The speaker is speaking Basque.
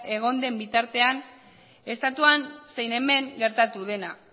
egon den bitartean estatuan zein hemen gertatu dena